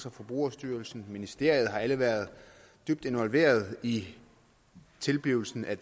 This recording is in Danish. og forbrugerstyrelsen og ministeriet har alle været dybt involveret i tilblivelsen af